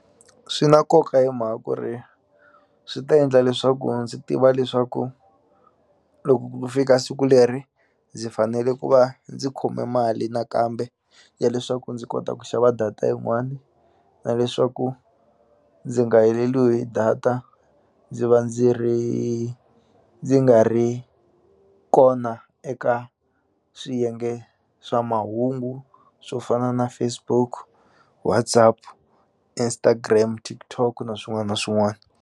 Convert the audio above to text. Swi na nkoka hi mhaka ku ri swi ta endla leswaku ndzi tiva leswaku loko ku fika siku leri ndzi fanele ku va ndzi khome mali nakambe ya leswaku ndzi kota ku xava data yin'wani na leswaku ndzi nga heleliwi hi data ndzi va ndzi ri ndzi nga ri kona eka swiyenge swa mahungu swo fana na Facebook WhatsApp Instagram TikTok na swin'wana na swin'wana.